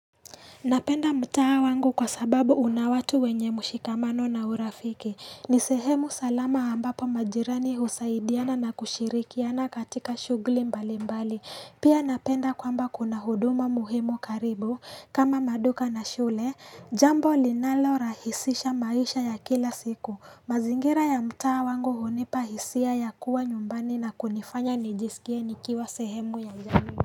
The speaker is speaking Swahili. Napenda mtaa wangu kwa sababu una watu wenye mushikamano na urafiki. Ni sehemu salama ambapo majirani husaidiana na kushirikiana katika shughuli mbali mbali. Pia napenda kwamba kuna huduma muhimu karibu kama maduka na shule. Jambo linalorahisisha maisha ya kila siku. Mazingira ya mtaa wangu hunipa hisia ya kuwa nyumbani na kunifanya nijisikie nikiwa sehemu ya jamii.